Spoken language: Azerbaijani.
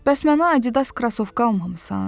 Bəs mənə Adidas krasovka almamısan?